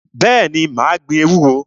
Bẹ́ẹ̀ni, mà á gbin ewúro.